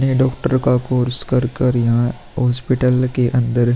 doctor का course कर कर यहां हॉस्पिटल के अंदर --